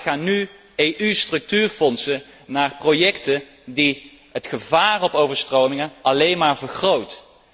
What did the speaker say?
Nog te vaak gaan nu EU structuurfondsen naar projecten die het gevaar op overstromingen alleen maar vergroten.